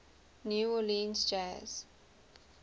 new orleans jazz